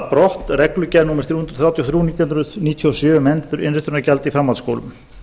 brott reglugerð númer þrjú hundruð þrjátíu og þrjú nítján hundruð níutíu og sjö um endurinnritunargjald í framhaldsskólum